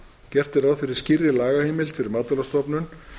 gert er ráð fyrir skýrri lagaheimild fyrir matvælastofnun